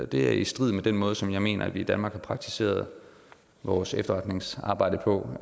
det er i strid med den måde som jeg mener at vi i danmark har praktiseret vores efterretningsarbejde på